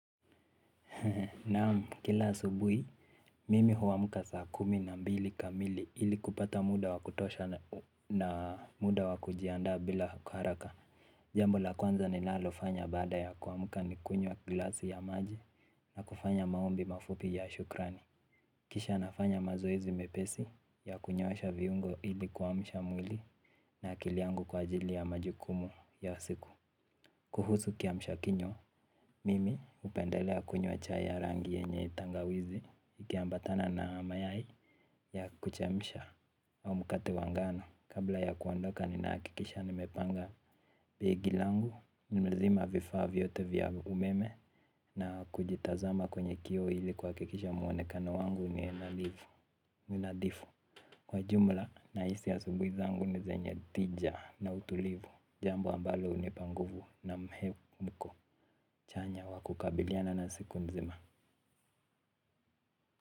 Naamu kila asubuhi mimi huamuka saa kumi na mbili kamili ili kupata muda wa kutosha na muda wa kujiandaa bila haraka. Jambo la kwanza ninalo fanya baada ya kuwamuka ni kunywa glasi ya maji na kufanya maombi mafupi ya shukrani. Kisha nafanya mazoizi mepesi ya kunyosha viungo ili kuamsha mwili na akili yangu kwa ajili ya majukumu ya siku. Kuhusu kia mshakinywa, mimi upendelea kunywa chai ya rangi yenye tangawizi ikiambatana na mayai ya kuchemsha au mukate wa ngano. Kabla ya kuandoka ninaakikisha nimepanga begi langu, nimezima vifaa vyote vya umeme na kujitazama kwenye kio ili kuwakikisha mwonekano wangu ni nilivo, ni nadhifu. Kwa jumla nahisi asubui zangu ni zenye tija na utulivu, jambo ambalo unipa nguvu na mhemuko. Chanya wa kukabiliana na seku nzima.